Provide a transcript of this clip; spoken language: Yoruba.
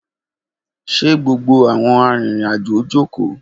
Ṣe gbogbo awọn arinrin-ajo joko?